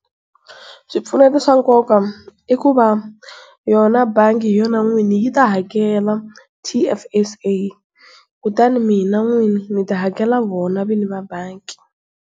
Swipfuneto swa nkoka i ku va yona bangi hi yona n'wini yi ta hakela T_F_S_A kutani mina n'wini ni ta hakela vona vinyi va banki.